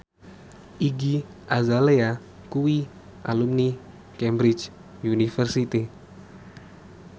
Iggy Azalea kuwi alumni Cambridge University